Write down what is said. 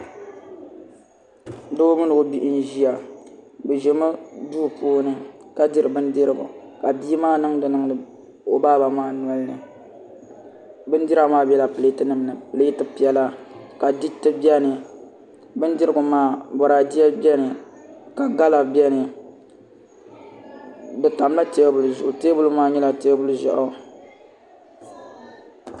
Doo mini o bihi n ʒiya bi ʒila duu puuni ka diri bindirigu ka bia maa niŋdi niŋdi o baa maa nolini bindira maa biɛla pileet nim ni pileet piɛla ka diriti biɛni bindirigu maa boraadɛ biɛni ka gala biɛni di tamla teebuli zuɣu teebuli maa nyɛla teebuli ʒiɛɣu